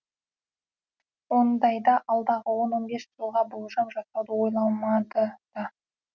ондайда алдағы он он бес жылға болжам жасауды ойламады да